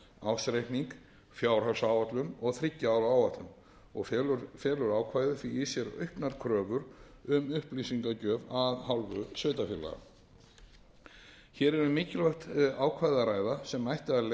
ársreikning fjárhagsáætlun og þriggja ára áætlun felur ákvæðið því í sér auknar kröfur um upplýsingagjöf af hálfu sveitarfélaga hér er um mikilvægt ákvæði að ræða sem ætti að leiða til